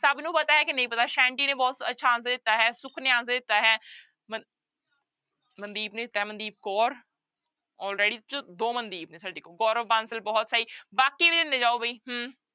ਸਭ ਨੂੰ ਪਤਾ ਹੈ ਕਿ ਨਹੀਂ ਪਤਾ ਸੈਂਟੀ ਨੇ ਬਹੁਤ ਅੱਛਾ answer ਦਿੱਤਾ, ਸੁੱਖ ਨੇ answer ਦਿੱਤਾ ਹੈ ਮ ਮਨਦੀਪ ਨੇ ਦਿੱਤਾ ਹੈ ਮਨਦੀਪ ਕੌਰ ਦੋ ਮਨਦੀਪ ਨੇ ਸਾਡੇ ਕੋਲ ਗੋਰਵ ਬਾਂਸਲ ਬਹੁਤ ਸਹੀ ਬਾਕੀ ਵੀ ਦਿੰਦੇ ਜਾਓ ਬਈ ਹਮ